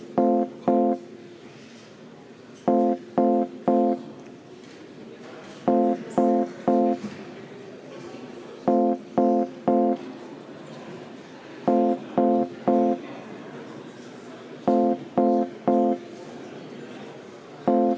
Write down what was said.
Hääletustulemused Umbusalduse avaldamise poolt hääletas 46 Riigikogu liiget, vastuolijaid ega erapooletuid ei olnud.